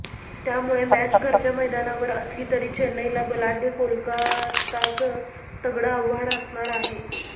त्यामुळे मॅच घरच्या मैदानावर असली तरी चेन्नईला बलाढ्य कोलकाताचं तगडं आव्हान असणार आहे